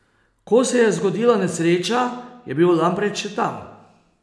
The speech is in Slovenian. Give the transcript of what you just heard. Ko se je zgodila nesreča, je bil Lampret še tam.